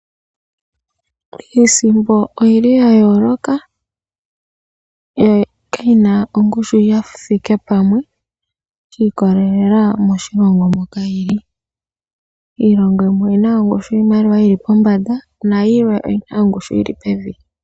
Iisimpo oyi li ya yooloka , yo kayi na ongushu yi thike pamwe sha ikolelela moshilongo moka yili. Iimaliwa yimwe oyina ongushu yi li pombanda, nayimwe oyina ongushu yi li pevi.